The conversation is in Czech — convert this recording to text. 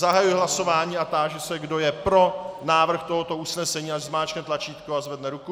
Zahajuji hlasování a táži se, kdo je pro návrh tohoto usnesení, ať zmáčkne tlačítko a zvedne ruku.